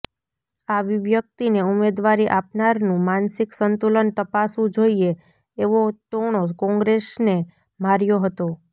આવી વ્યક્તિને ઉમેદવારી આપનારનું માનસિક સંતુલન તપાસવું જોઈએ એવો ટોણો કોંગ્રેસને માર્યો હતો